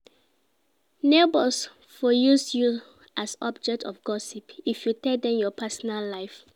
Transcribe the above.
Neighbors for use you as object of gossip if you tell dem your personal life